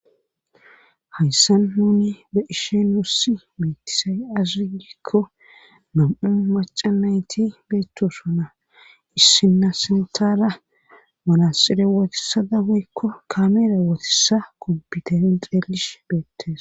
hayssan huni be isheenussi meetisay azuugikko nam7u macanayti beettosuna issina sintala malasire wotisada hoykko kameera wootissa kompiterin xeelish beettes